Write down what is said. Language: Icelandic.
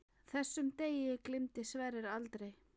Þessum degi gleymdi Sverrir aldrei.